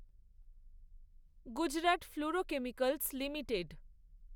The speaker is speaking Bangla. Gujarat Fluorochemicals limited